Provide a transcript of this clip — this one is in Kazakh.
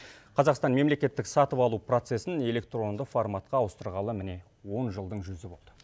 қазақстан мемлекеттік сатып алу процесін электронды форматқа ауыстырғалы міне он жылдың жүзі болды